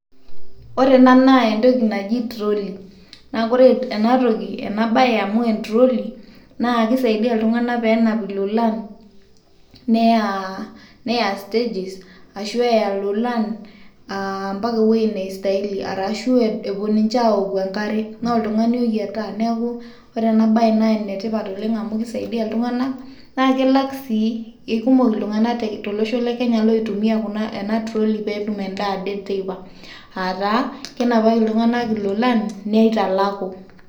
Ore ena naa entoki naji troli, naa kore enatoki ena baye amu entroli nake isaidia iltung'anak pee enap ilololan neya neya stages ashu eya ilolan mpaka ewoi naistahili arashu epuo ninje awoku enkare naa oltung'ani oyiataa. Neeku ore ena baye naa ene tipat oleng' amu kisaidia iltung'anak naake elak sii ee kumok iltung'anak tolosho le kenya loitumia ena troli pee etum endaa ade teipa aa taa kenapaki iltung'anak ilolan neitalaku.